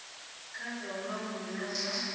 kha zwa vhulanguli na zwa